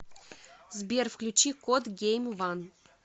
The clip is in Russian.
сбер включи кот гейм ван